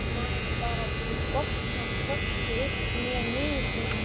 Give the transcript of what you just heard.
Maður bara botnar hvorki upp né niður.